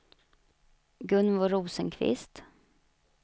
Gunvor Rosenqvist